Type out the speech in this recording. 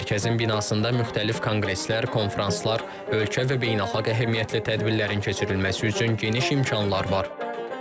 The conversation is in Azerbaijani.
Mərkəzin binasında müxtəlif konqreslər, konfranslar, ölkə və beynəlxalq əhəmiyyətli tədbirlərin keçirilməsi üçün geniş imkanlar var.